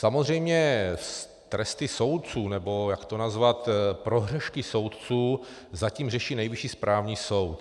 Samozřejmě tresty soudců, nebo jak to nazvat, prohřešky soudců zatím řeší Nejvyšší správní soud.